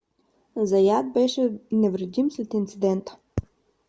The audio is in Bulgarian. заят беше невредим след инцидента